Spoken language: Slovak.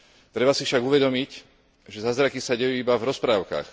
Treba si však uvedomiť, že zázraky sa dejú iba v rozprávkach.